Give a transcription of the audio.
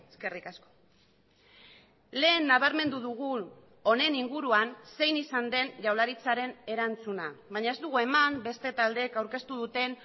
eskerrik asko lehen nabarmendu dugu honen inguruan zein izan den jaurlaritzaren erantzuna baina ez dugu eman beste taldeek aurkeztu duten